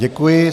Děkuji.